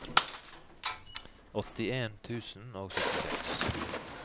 åttien tusen og syttiseks